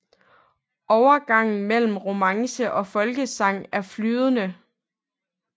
Overgangen mellem romance og folkesang er flydende